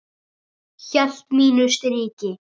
Hélt mínu striki.